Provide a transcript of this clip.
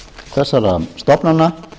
fjárhag þessara stofnana